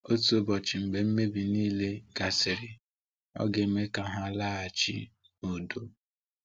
Otu ụbọchị mgbe mmebi niile gasịrị, Ọ ga-eme ka ha laghachi n’udo.